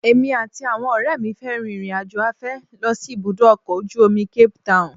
Èmi àti àwọn ọ̀rẹ́ mi fẹ́ rin ìrìnàjò afẹ́ lọ sí ibùdó ọkọ̀ ojú omi Cape town